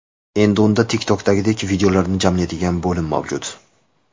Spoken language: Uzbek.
Endi unda TikTok’dagidek videolarni jamlaydigan bo‘lim mavjud.